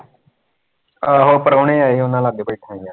ਆਹੋ ਪ੍ਰਾਹੁਣੇ ਆਏ ਸੀ ਉਹਨਾਂ ਲਾਗੇ ਬੈਠਾਂ ਸੀ ਯਾਰ